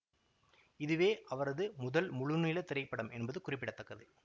இதுவே அவரது முதல் முழுநீள திரைப்படம் என்பது குறிப்பிட தக்கது